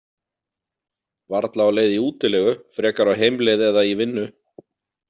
Varla á leið í útilegu, frekar á heimleið eða í vinnu.